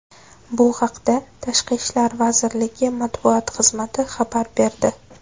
Bu haqda Tashqi ishlar vaziriligi matbuot xizmati xabar berdi .